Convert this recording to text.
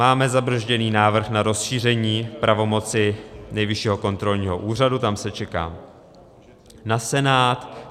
Máme zabrzděný návrh na rozšíření pravomoci Nejvyššího kontrolního úřadu, tam se čeká na Senát.